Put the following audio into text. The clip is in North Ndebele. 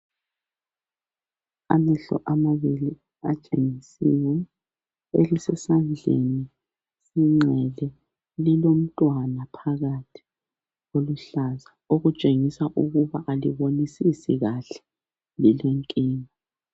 Amehlo amabili atshengisiwe, elisesandleni sokunxele lomntwana phakathi oluhlaza okutshengisa ukuthi alibonisisi kahle lilenkinga.